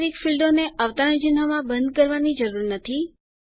numeric ફીલ્ડોને અવતરણ ચિન્હમાં બંધ કરવાની જરૂર નથી